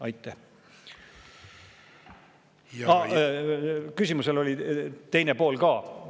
Aa, küsimusel oli teine pool ka.